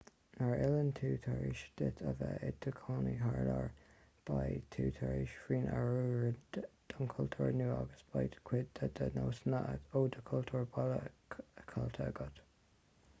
nuair a fhilleann tú tar éis duit a bheith i do chónaí thar lear beidh tú tar éis tú féin a oiriúnú don chultúr nua agus beidh cuid de do nósanna ó do chultúr baile caillte agat